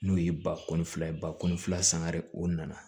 N'o ye bakɔ ni fila ye ba kɔni sangare o nana